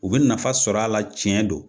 U be nafa sɔr'a la tiɲɛ don